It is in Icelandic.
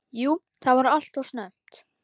Jú það var alltof snemmt.